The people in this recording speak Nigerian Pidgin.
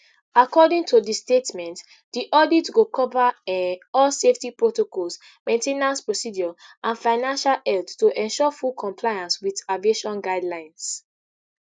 according to di statement di audit go cover um all safety protocols main ten ance procedures and financial health to ensure full compliance wit aviation guidelines